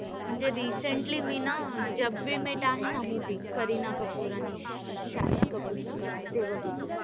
म्हणजे recently मी ना जब वी मेट we met आहे ना movie करीना कपूर आणि शाहिद कपूर चा. ते बघितलंय.